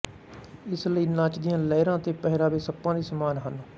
ਇਸ ਲਈ ਨਾਚ ਦੀਆਂ ਲਹਿਰਾਂ ਅਤੇ ਪਹਿਰਾਵੇ ਸੱਪਾਂ ਦੇ ਸਮਾਨ ਹਨ